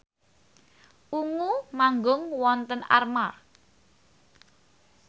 Ungu manggung wonten Armargh